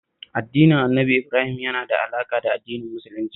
Addinin Annabi Ibrahim yana da alaƙa da Addinin Musulunci